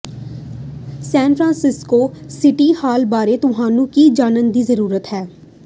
ਸੈਨ Francisco City Hall ਬਾਰੇ ਤੁਹਾਨੂੰ ਕੀ ਜਾਣਨ ਦੀ ਜ਼ਰੂਰਤ ਹੈ